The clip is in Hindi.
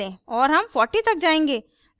और हम 40 तक जायेंगे